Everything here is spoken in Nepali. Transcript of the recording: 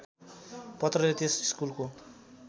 पत्रले त्यस स्कुलको